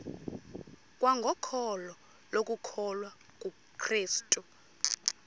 kwangokholo lokukholwa kukrestu